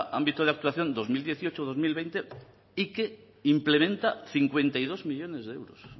ámbito de actuación dos mil dieciocho dos mil veinte y que implementa cincuenta y dos millónes de euros